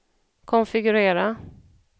konfigurera